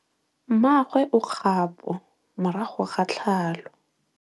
Mmagwe o kgapô morago ga tlhalô.